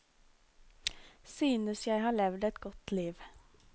Synes jeg har levd et godt liv.